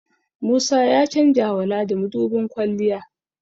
Musa ya chanjawa Ladi mudubin kwalliya